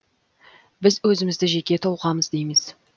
біз өзімізді жеке тұлғамыз дейміз